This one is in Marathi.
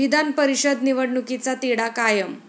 विधान परिषद निवडणुकीचा तिढा कायम